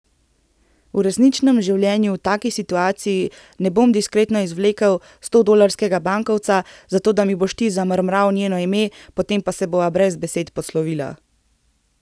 V resničnem življenju v taki situaciji ne bom diskretno izvlekel stodolarskega bankovca, zato da mi boš ti zamrmral njeno ime, potem pa se bova brez besed poslovila.